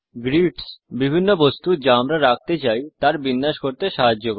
greets বিভিন্ন বস্তু যা আমরা রাখতে চাই তার বিন্যাস করতে সাহায্য করে